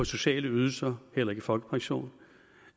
sociale ydelser eller i folkepension